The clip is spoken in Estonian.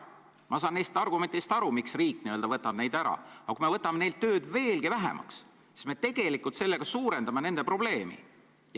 Ma saan aru argumentidest, miks riik n-ö võtab neilt kohustusi ära, aga kui me võtame neil tööd veelgi vähemaks, siis me tegelikult suurendame nende probleemi.